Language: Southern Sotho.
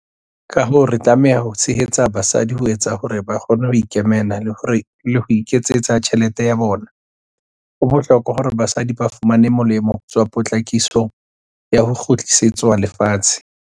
Ka hoo, re tlameha ho tshehetsa basadi ho etsa hore ba kgone ho ikemela le ho iketsetsa tjhelete ya bona. Ho bohlo-kwa hore basadi ba fumane molemo ho tswa potlakisong ya ho kgutlisetswa lefatshe.